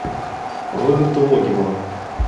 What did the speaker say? роберта логинова